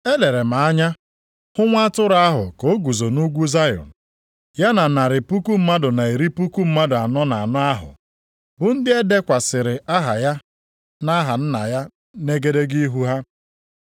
Elere m anya hụ Nwa Atụrụ ahụ ka o guzo nʼugwu Zayọn. Ya na narị puku mmadụ na iri puku mmadụ anọ na anọ ahụ, bụ ndị e dekwasịrị aha ya na aha Nna ya nʼegedege ihu ha.